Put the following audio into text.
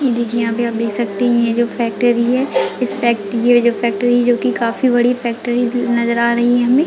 इ दिखिए यहाँ पे आप देख सकते है ये जो फैक्ट्री है इस फैक्ट्री जो फैक्ट्री जो कि काफी बड़ी फैक्ट्री नज़र आ रही है हमे--